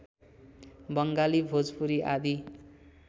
बङ्गाली भोजपुरी आदि